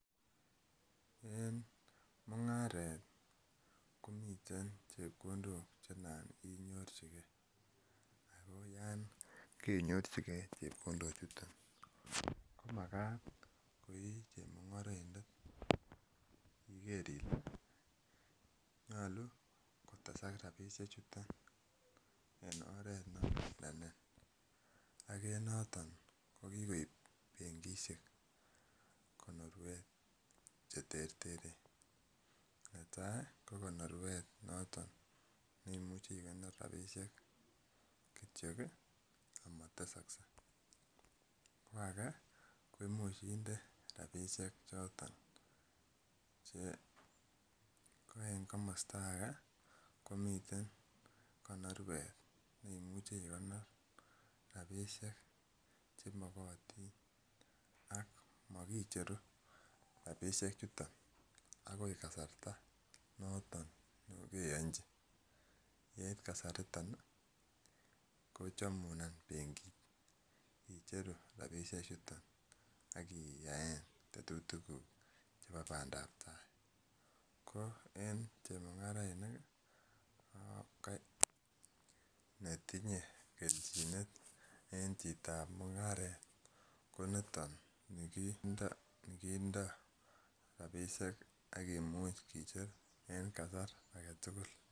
Eng mungaret komiteen chepkondook che naan inyorjinikei ako yaan koinyorjigei chepkondook ko makaat ko ii chemungaraindet nyaluu kotesaak rapisheek chutoon en oret alen notoon ko kikoob benkishek konorweet che terteren ne tai ii ko konorweet notoon neimuuchei ikonor rapisheek kityoi ii ama tesaksei ko age komuuch indee rapisheek chotoon che ko eng komostaa age komiteen konorweet neimuuchi igonor rapisheek che magatiin ak makicheruu rapisheek chutoon akoot kasarta notoon nekakeyanjii yeit kasari it on kochamuun benkiit icheeruu rapisheek chutoon inemuu ak iyaen tetutik guug chebo Bandap ko eng chemungarainik ne tinye keljineet eng chitoo ab mungaret ko nitoon nikindo rapisheek akimuuch kocheer eng kasar ake tugul.